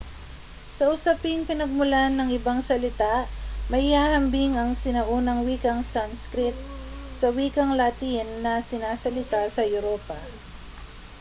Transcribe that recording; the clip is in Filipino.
sa usaping pinagmulan ng ibang salita maihahambing ang sinaunang wikang sanskrit sa wikang latin na sinasalita sa europa